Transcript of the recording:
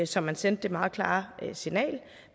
så man sendte det meget klare signal